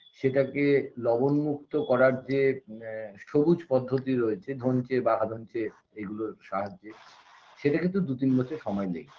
সেটাকে লবণমুক্ত করার যে আ সবুজ পদ্ধতি রয়েছে ধনচে বা আধনচে এগুলোর সাহায্যে সেটা কিন্তু দু তিন বছর সময় নেয়